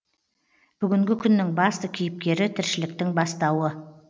бүгінгі күннің басты кейіпкері тіршіліктің бастауы